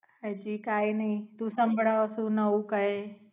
હાજી કાઈ નાય તું સંભળાવ સુ નવું કાય.